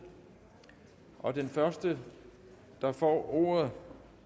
og den første der får ordet